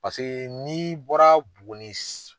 Paseke n'i bɔra Buguni